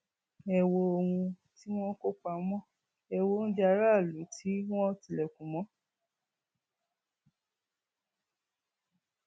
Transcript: ẹ wo ohun tí wọn kó pamọ ẹ wọ oúnjẹ aráàlú tí wọn tilẹkùn mọ